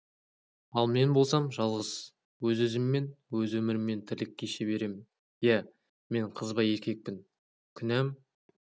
ал мен болсам жалғыз өз-өзіммен өз өміріммен тірлік кеше беремін иә мен қызба еркекпін күнәм